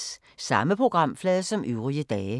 Samme programflade som øvrige dage